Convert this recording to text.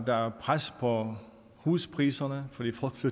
der er pres på huspriserne fordi